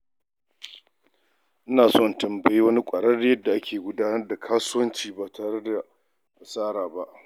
Ina so in tambayi wani ƙwararre yadda ake gudanar da kasuwanci ba tare da asara ba.